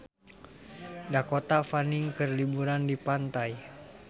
Dakota Fanning keur liburan di pantai